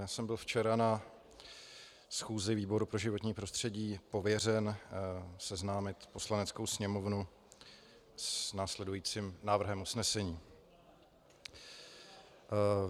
Já jsem byl včera na schůzi výboru pro životní prostředí pověřen seznámit Poslaneckou sněmovnu s následujícím návrhem usnesení.